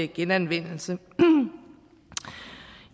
genanvendelse i